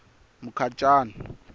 mukhacani